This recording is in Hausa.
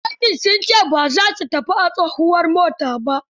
Fasinjojin sun ce ba za su tafi a tsohuwar mota ba.